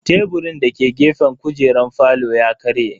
Teburin dake gefen kujeran falon ya karye.